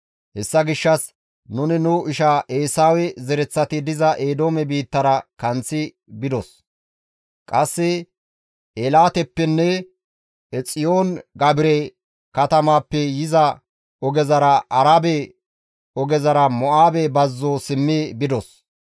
Hessa gishshas nuni nu isha Eesawe zereththati diza Eedoome biittara kanththi bidos; qasse Eelaatepenne Eexiyoon-Gaabire katamaappe yiza ogezara Arabe ogezara Mo7aabe bazzo simmi bidos.